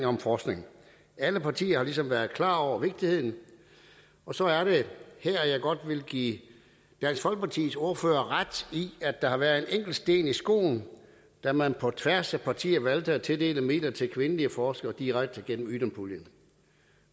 om forskning alle partier har ligesom været klar over vigtigheden og så er det her jeg godt vil give dansk folkepartis ordfører ret i at der har været en enkelt sten i skoen da man på tværs af partierne valgte at tildele midler til kvindelige forskere direkte gennem ydun puljen